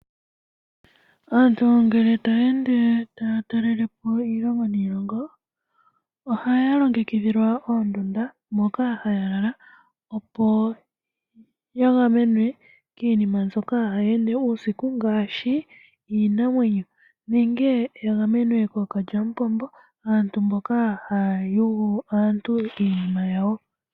Aantu ngele taya ende taya talelepo iilongo niilongo ohaya longekidhilwa oondunda moka haya lala opo Ya gamenwe kiinima mbyoka hayi ende uusiku ngaashi iinamwenyo nenge ya gamenwe kookalyamupombo, aantu mboka haya yugu aantu iinima yawo .